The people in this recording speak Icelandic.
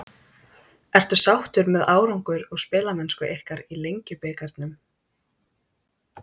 Ertu sáttur með árangur og spilamennsku ykkar í Lengjubikarnum?